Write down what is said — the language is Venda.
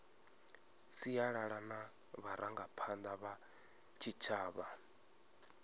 sialala na vharangaphanda vha tshitshavha